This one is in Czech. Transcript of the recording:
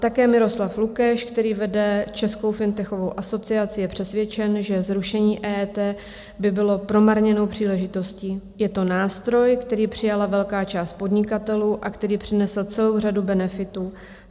Také Miroslav Lukeš, který vede Českou fintechovou asociaci, je přesvědčen, že zrušení EET by bylo promarněnou příležitostí: Je to nástroj, který přijala velká část podnikatelů a který přinesl celou řadu benefitů.